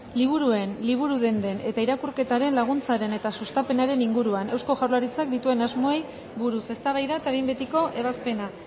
liburuen liburu denden eta irakurketaren laguntzaren eta sustapenaren inguruan eusko jaurlaritzak dituen asmoei buruz eztabaida eta behin betiko ebazpena